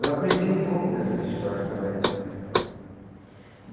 Eu aprendi um pouco dessas histórias também.